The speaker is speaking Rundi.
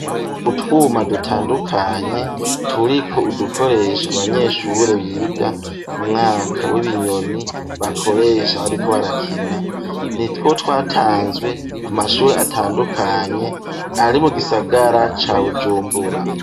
Utwuma dutandukanye turiko udukoresha abanyeshure biga mu mwaka w'ibinyoni bakoresha ariko barakina. Nitwo twatanzwe ku mashuri atandukanye ari mu gisagara ca Bujumbura.